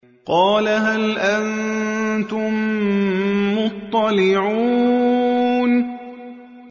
قَالَ هَلْ أَنتُم مُّطَّلِعُونَ